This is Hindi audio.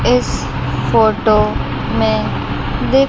इस फोटो में--